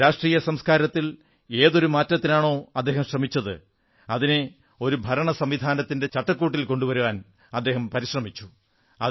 രാഷ്ട്രീയ സംസ്കാരത്തിൽ ഏതൊരു മാറ്റത്തിനാണോ അദ്ദേഹം ശ്രമിച്ചത് അതിനെ ഒരു ഭരണസംവിധാനത്തിന്റെ ചട്ടക്കൂടിൽ കൊണ്ടുവരാൻ ശ്രമിച്ചു